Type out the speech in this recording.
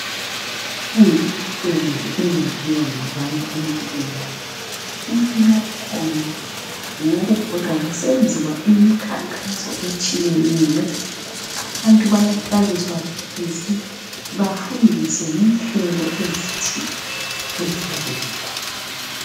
minengi imisebenzi eyenziwa ngabantu empilweni omunya wakhona ngwokufola kusenziwa imikhankaso etshiyeneyo abantu bayahlaliswa phansi bafundiswe ngenhlelo ezithile eziyabe zikhona